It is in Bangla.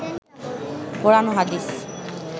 কোরআন ও হাদিস